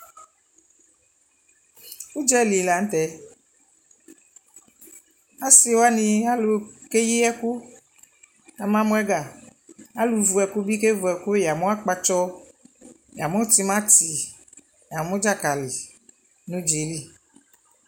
ʋdzali lantɛ, asii wani, alʋ kɛyi ɛkʋ kʋ ama mʋ ɛga, alʋ vʋ ɛkʋ bi kɛ vʋ ɛkʋ, yamʋ akpatsɔ, yamʋ tʋmati, yamʋ dzakali nʋʋdzaɛ li